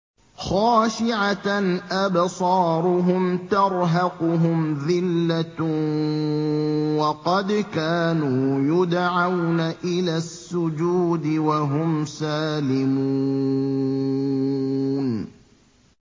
خَاشِعَةً أَبْصَارُهُمْ تَرْهَقُهُمْ ذِلَّةٌ ۖ وَقَدْ كَانُوا يُدْعَوْنَ إِلَى السُّجُودِ وَهُمْ سَالِمُونَ